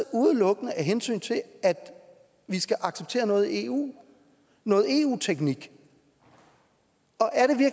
udelukkende af hensyn til at vi skal acceptere noget i eu noget eu teknik